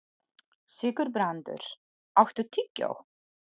Sigurbrandur, áttu tyggjó?